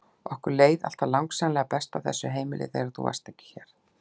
Okkur leið alltaf langsamlega best á þessu heimili þegar þú varst ekki hér!